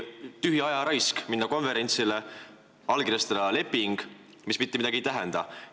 Kas pole tühi ajaraisk minna konverentsile ja allkirjastada leping, mis mitte midagi ei tähenda?